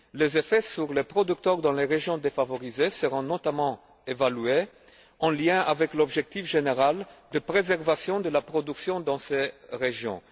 Les effets sur les producteurs dans les régions défavorisées seront notamment évalués en lien avec l'objectif général de préservation de la production dans ces régions.